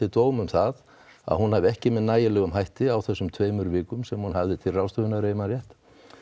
dóm um það að hún hefði ekki með nægilegum hætti á þessum tveimur vikum sem hún hafði til ráðstöfunar ef ég man rétt